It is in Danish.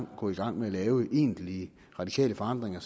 gå i gang med at lave egentlige radikale forandringer